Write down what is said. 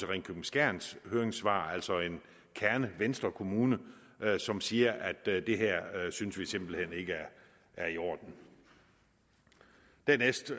ringkøbing skjerns høringssvar altså en kernevenstrekommune som siger at det her synes de simpelt hen ikke er i orden dernæst